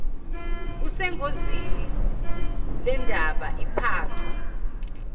kusengozini lendaba iphathwa